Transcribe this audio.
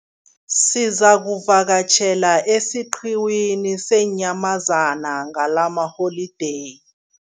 Sizakuvakatjhela esiqhiwini seenyamazana ngalamaholideyi.